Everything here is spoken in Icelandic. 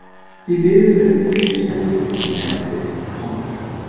Því miður verður myndin ekki sett upp fyrr en eftir ár.